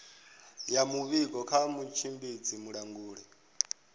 ya muvhigo kha mutshimbidzi mulanguli